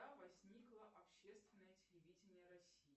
когда возникло общественное телевидение россии